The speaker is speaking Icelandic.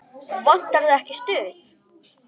Vantar þig ekki stuð?